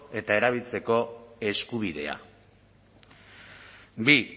eta erabiltzeko eskubidea bi